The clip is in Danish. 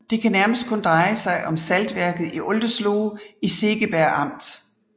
Det kan nærmest kun dreje sig om saltværket i Oldesloe i Segeberg amt